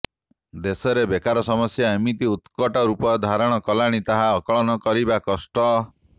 ଦେଶରେ ବେକାର ସମସ୍ୟା ଏମିତି ଉତ୍କଟ ରୂପ ଧାରଣ କଲାଣି ତାହା ଆକଳନ କରିବା କଷ୍ଟ